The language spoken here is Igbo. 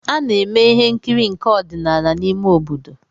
A na-eme ihe nkiri nke ọdịnala n’ime obodo